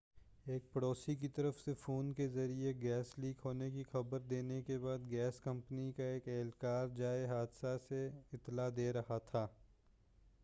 ایک پڑوسی کی طرف سے فون کے ذریعہ گیس لیک ہونے کی خبر دینے کے بعد گیس کمپنی کا ایک اہلکار جائے حادثہ سے اطلاع دے رہا تھا